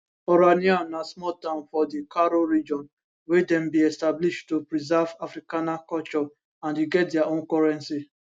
orania na small town for di karoo region wey dem bin establish to preserve afrikaner culture and e get dia own currency